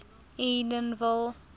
edenville